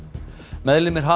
meðlimir